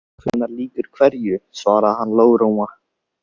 Hvenær lýkur hverju svaraði hann lágróma.